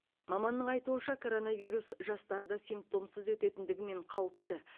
маманның айтуынша коронавирус жастарда симптомсыз өтетіндігімен қауіпті